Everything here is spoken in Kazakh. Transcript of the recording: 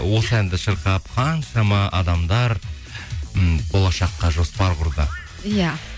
осы әнді шырқап қаншама адамдар м болашаққа жоспар құрды иә